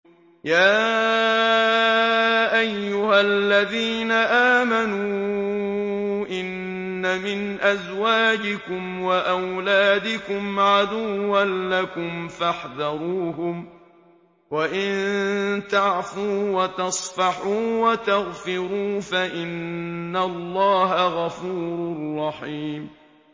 يَا أَيُّهَا الَّذِينَ آمَنُوا إِنَّ مِنْ أَزْوَاجِكُمْ وَأَوْلَادِكُمْ عَدُوًّا لَّكُمْ فَاحْذَرُوهُمْ ۚ وَإِن تَعْفُوا وَتَصْفَحُوا وَتَغْفِرُوا فَإِنَّ اللَّهَ غَفُورٌ رَّحِيمٌ